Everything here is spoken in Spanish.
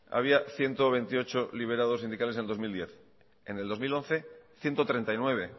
había ciento veintiocho liberados sindicales en dos mil diez en el dos mil once ciento treinta y nueve